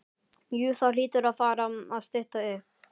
Jú það hlýtur að fara að stytta upp.